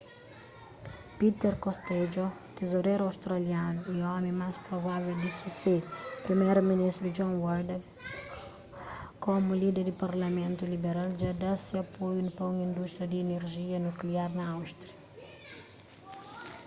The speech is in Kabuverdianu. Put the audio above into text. peter costello tizoreru australianu y omi más provável di susede priméru ministru john howard komu líder di partidu liberal dja dá se apoiu pa un indústria di inerjia nukliar na austrália